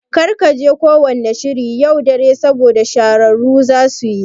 Kar kaje ko wanna shiri yau dare saboda shahararru zasuyi